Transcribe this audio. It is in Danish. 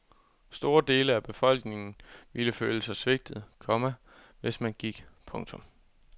Store dele af befolkningen ville føle sig svigtet, komma hvis man gik. punktum